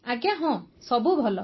ଆଜ୍ଞା ହଁ ସବୁ ଭଲ